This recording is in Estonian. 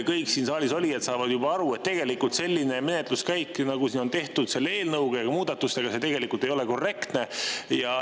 Kõik siin saalis olijad saavad aru, et selline menetluskäik, nagu on tehtud selle eelnõu ja muudatus, ei ole tegelikult korrektne.